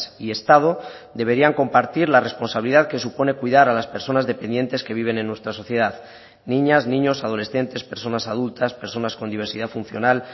y estado deberían compartir la responsabilidad que supone cuidar a las personas dependientes que viven en nuestra sociedad niñas niños adolescentes personas adultas personas con diversidad funcional